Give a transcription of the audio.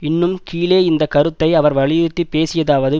இன்னும் கீழே இந்த கருத்தை அவர் வலியுறுத்திப் பேசியதாவது